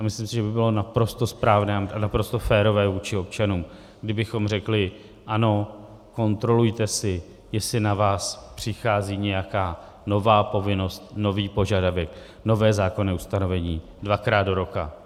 A myslím si, že by bylo naprosto správné a naprosto férové vůči občanům, kdybychom řekli ano, kontrolujte si, jestli na vás přichází nějaká nová povinnost, nový požadavek, nové zákonné ustanovení, dvakrát do roka.